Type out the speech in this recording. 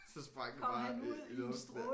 Så sprang det bare ud i luften dér